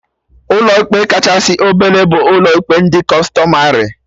Ụlọ ikpe kachasị obele bụ ụlọ ikpe ndị Kụstọmarị